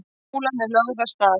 Kúlan er lögð af stað.